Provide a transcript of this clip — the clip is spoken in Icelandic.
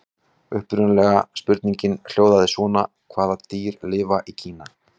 Upprunalega spurningin hljóðaði svona: Hvaða dýr lifa í Kína?